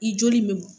I joli in bɛ